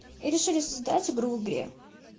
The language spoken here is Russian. и решили создать игру в игре